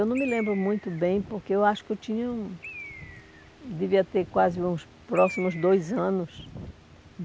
Eu não me lembro muito bem, porque eu acho que eu tinha... devia ter quase uns próximos dois anos.